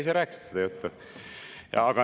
Ise rääkisite seda juttu.